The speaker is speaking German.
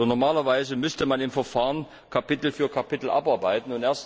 Normalerweise müsste man in dem Verfahren Kapitel für Kapitel abarbeiten.